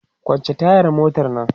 kwance tayar motan Nan!